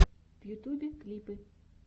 в ютюбе клипы